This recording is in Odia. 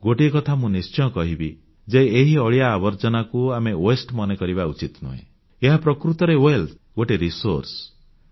ଗୋଟିଏ କଥା ମୁଁ ନିଶ୍ଚୟ କହିବି ଯେ ଏହି ଅଳିଆ ଆବର୍ଜନାକୁ ଆମେ ୱାସ୍ତେ ମନେ କରିବା ଉଚିତ ନୁହେଁ ଏହା ପ୍ରକୃତରେ ସମ୍ପଦ ବା ୱେଲ୍ଥ ଗୋଟିଏ ସାଧନ ବା ରିଜୋର୍ସ